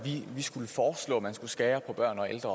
skal arbejde